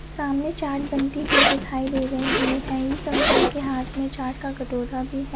सामने चाट बनती हुई दिखाई दे रही है एक अंकल के हात में चाट का कटोरा भी है।